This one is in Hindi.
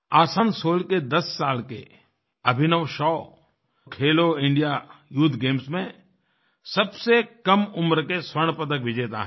आसनसोल के 10 साल के अभिनवशॉखेलो इंडिया यूथ गेम्स में सबसे कम उम्र के स्वर्ण पदक विजेता हैं